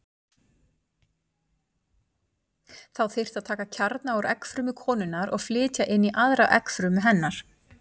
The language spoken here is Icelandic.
Þá þyrfti að taka kjarna úr eggfrumu konunnar og flytja inn í aðra eggfrumu hennar.